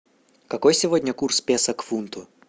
какой сегодня курс песо к фунту